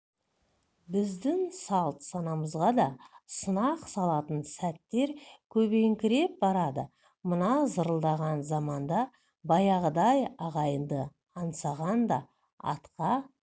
біздің салт-санамызға да сынақ салатын сәттер көбейіңкіреп барады мына зырылдаған заманда баяғыдай ағайынды аңсағанда атқа